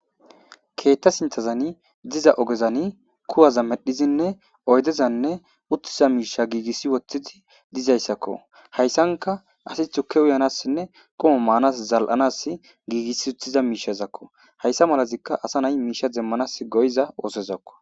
Keeththa sinththazani diza oogezani kuwaza medhizinne oyddezanne uttiza miishsha giigissi woththidi dizayssakko hayssanka asi tuukke uyanassinne quma maanas zal'anas giigissi uttiza miishshazakko hayssa malazikka asa nay miishsha demmanas go'iza oosozakko